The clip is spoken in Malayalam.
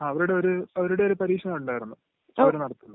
ങാ..അവരുടെ ഒരു പരീക്ഷ ഉണ്ടായിരുന്ന്..അവര് നടത്തുന്നത്...